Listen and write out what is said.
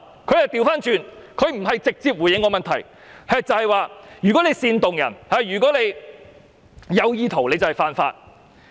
"局長沒有直接回覆我的問題，反過來說如果煽動別人或有意圖便是犯法。